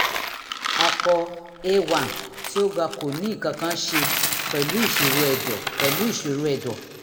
apọ a1 tí ó ga kò ní nǹkan kan ṣe pẹ̀lú ìṣòro ẹ̀dọ̀ pẹ̀lú ìṣòro ẹ̀dọ̀